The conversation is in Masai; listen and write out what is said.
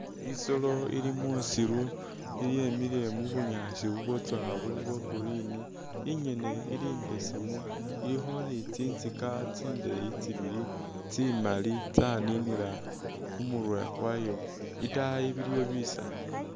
I'solo ili musiru yemile mubunyaasi bubwatsoowa buli bwa green ingene ili imbesemu ilikho ni tsintsika tsindeyi tsibili tsimaali tsaninila khumurwe khwayo itaayi biliyo bisaala